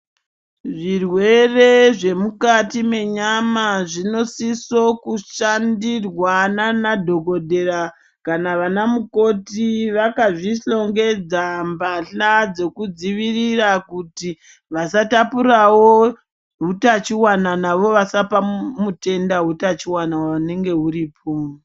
Zvirwere zvemukati menyama zvinosiso kushandirwa nanadhokodhera, kana vana mukoti vakazvihlongedza mbahla dzekudzivirira kuti vasatapurawo hutachiwana navo vasapa mutenda hutachiwana hunenge huripo.